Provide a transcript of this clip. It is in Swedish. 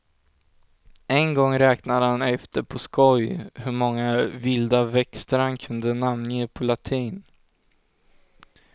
En gång räknade han efter på skoj hur många vilda växter han kunde namnge på latin.